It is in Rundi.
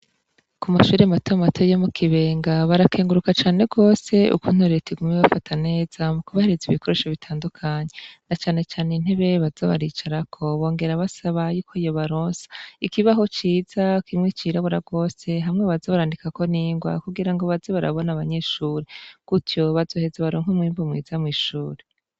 Ku mashure matema mate yo mu kibenga barakenguruka cane rwose uku nturira tigume w bafata neza mu kubahiriza ibikoresho bitandukanyi na canecane ntibewe bazabaricarako bongera basaba yuko yobaronsa ikibaho ciza kimwe cirabura rwose hamwe baza barandikako ningwa kugira ngo bazi barabona abanyeshuri kutyo baze hezo baronko mwimpu mwiza mw'ishuri.